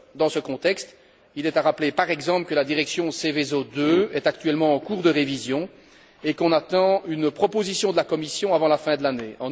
Dans ce contexte, il est à rappeler, par exemple, que la directive Seveso II est actuellement en cours de révision et que nous attendons une proposition de la Commission avant la fin de l'année.